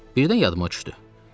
Birdən yadıma düşdü.